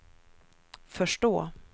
förstå